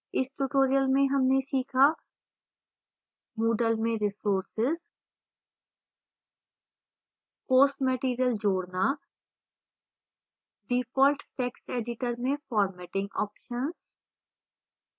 इस tutorial में हमने सीखा